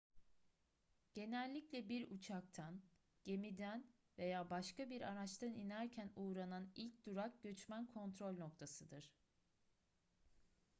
genellikle bir uçaktan gemiden veya başka bir araçtan inerken uğranan ilk durak göçmen kontrol noktasıdır